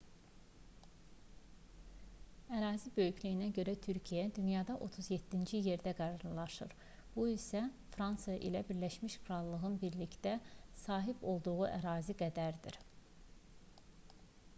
ərazi böyüklüyünə görə türkiyə dünyada 37-ci yerdə qərarlaşır bu isə fransa ilə birləşmiş krallığın birlikdə sahib olduğu ərazi qədərdir